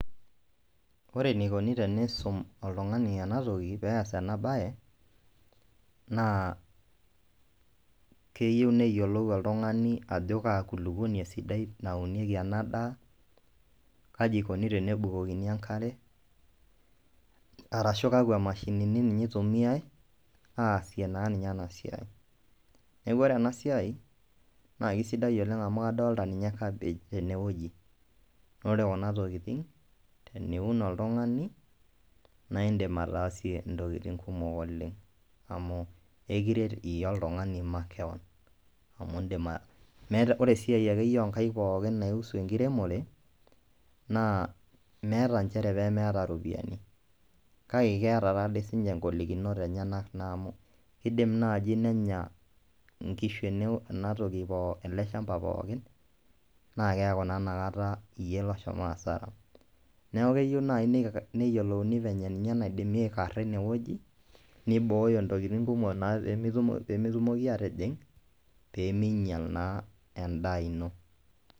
Ore eneikoni tenisum oltung'ani enatoki peeyas ena baye naa keyieu neyiolou oltung'ani ajo kaa kulupuoni esidai naunieki ena daa kaji eikoni tenebukokini enkare arashuu kakwa mashinini ninye eitumiyai aaasie naaninye ena siai neeku ore ena siai naa keisidai oleng amu kadolita ninye cabbage tene wueji naa ore kuna tokitin niun oltung'ani naa indiim ataasie esiai amu ekiret iyie oltung'ani makeweon ore esiai ake pookin naihusu enkiremore naa meeta inchere peemeeta iropiyiani kake keeta taadoi siininye ingolikinot enyenak naa amu keidim naaji nenya inkishu ena toki ele shamba pookin naa keeku naa inakata iyie loshomo hasara neeku keyieu naaji neyiolouni venye naidimi aikara ine wueji neibooyo intokitin kumok peemetumoki aatijing peemeinyial naa endaa ino .